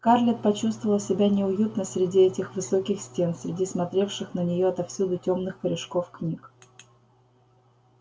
скарлетт почувствовала себя неуютно среди этих высоких стен среди смотревших на неё отовсюду тёмных корешков книг